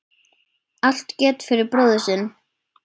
Allt gert fyrir bróðir sinn.